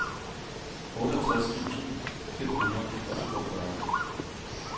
otteogtres tusind fem hundrede og toogfyrre